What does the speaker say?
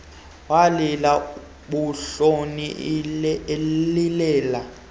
walila buntloni elilela